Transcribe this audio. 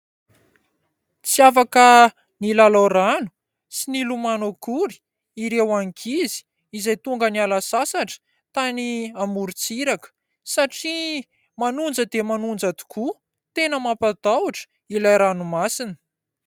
Tsy afaka milalao rano sy milomano akory ireo ankizy izay tonga niala sasatra tany amorontsiraka satria manonja dia manonja tokoa. Tena mampatahotra ilay ranomasina.